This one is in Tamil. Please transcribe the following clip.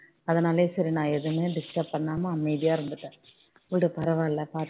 அதனாலேயே சரி நான் எதுவுமே பண்ணாம அமைதியா இருந்துட்டேன் விடு பரவால பார்த்துக்கலாம்